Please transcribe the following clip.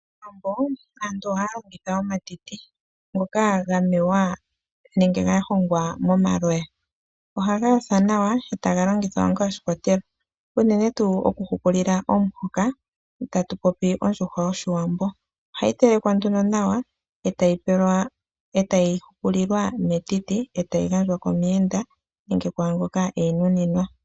Kowambo aantu ohaya longitha omatiti ngoka ga honga momaloya . Ohaga yothwa nawa etaga longithwa inga oshikwatelwa uunene tuu okuhukulila omuhoka tatu popi ondjuhwa yoshiwambo. Ohayi telekwa nduno nawa etayi hukulilwa metiti etayi gandjwa komuyenda nenge kwaa ngoka eyinuninwa.